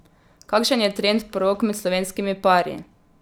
Kakšen je trend porok med slovenskimi pari?